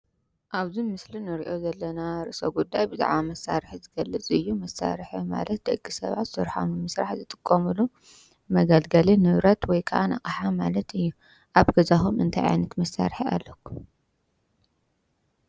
እብዚ ምስሊ ንሬኦ ዘለና ርእሰ ጉዳይ ብዛዕባ መሳርሒ ዝገልፅ እዩ:: መሳርሒ ማለት ደቂ ሰባት ስርሖም ኣብ ምስራሕ ዝጥቀምሉ መገልገሊ ንብረት ወይክዓ ኣቅሓ ማለት እዩ። ኣብ ገዛኩም እንታይ ዓይነት መሳርሒ ኣለኩም?